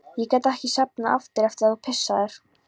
Ég gat ekki sofnað aftur eftir að þú pissaðir.